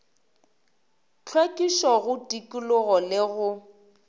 hlwekišo go tikologo le go